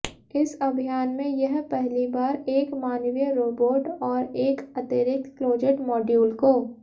इस अभियान में यह पहली बार एक मानवीय रोबोट और एक अतिरिक्त क्लोजेट मॉड्यूल को